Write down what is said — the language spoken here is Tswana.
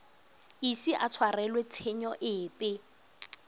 ise a tshwarelwe tshenyo epe